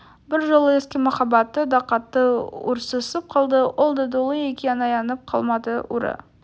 бір жолы ескі махаббаты да қатты ұрсысып қалды ол да долы екен аянып қалмады ұры